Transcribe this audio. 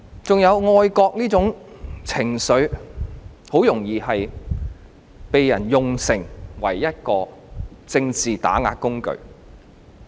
還有愛國這種情緒，很容易被人用作一個政治打壓的工具。